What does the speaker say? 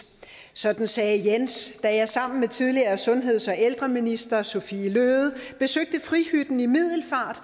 sådan sagde jens da jeg sammen med tidligere sundheds og ældreminister sophie løhde besøgte frihytten i middelfart